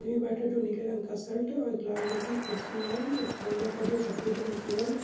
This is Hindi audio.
बैठा जो नीले रंग का शर्ट है और लाल रंग की कुर्सी है एक फ़ोन रखा है जो सफ़ेद रंग की है।